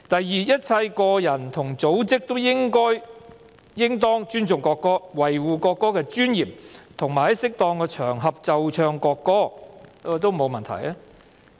"2 一切個人和組織都應當尊重國歌，維護國歌的尊嚴，並在適宜的場合奏唱國歌"，這也沒有問題。